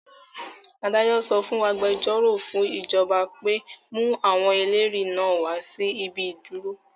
Adájọ sọ fún agbẹjọ́rò fún ìjọba pé; mú àwọn ẹlẹ́rìí náà wá sí ibi ìdúró?